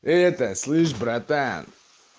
это слышь братан